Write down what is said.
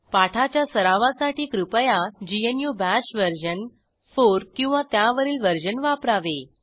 पाठाच्या सरावासाठी कृपया ग्नू बाश वर्जन 4 किंवा त्यावरील वर्जन वापरावे